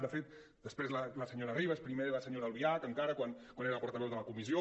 de fet després la senyora ribas primer la senyora albiach encara quan era portaveu de la comissió